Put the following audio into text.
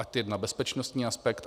Ad 1 bezpečnostní aspekt.